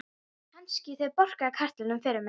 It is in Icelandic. Gissur þagnaði, saup af könnunni og dæsti.